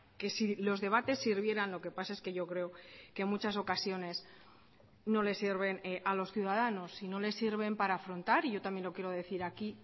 que si los debates sirvieran lo que pasa es que yo creo que en muchas ocasiones no le sirven a los ciudadanos y no les sirven para afrontar y yo también lo quiero decir aquí